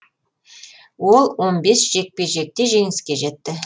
ол он бес жекпе жекте жеңіске жетті